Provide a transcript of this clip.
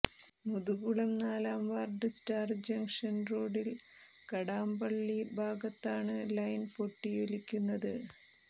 മുതുകുളം നാലാംവാർഡ് star junction റോഡിൽ കടാംപള്ളി ഭാഗത്താണ് ലൈൻ പൊട്ടിയൊലിക്കുന്നത്